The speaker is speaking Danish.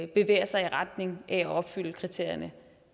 bevæger sig i retning af at opfylde kriterierne